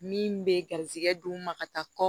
Min bɛ garizigɛ d'u ma ka taa kɔ